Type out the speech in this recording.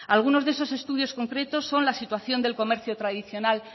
algunos de esos estudios concretos son la situación del comercio tradicional